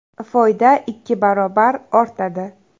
Foyda ikki barobar ortadi.